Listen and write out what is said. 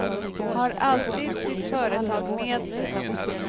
Har alltid sitt företag med sig.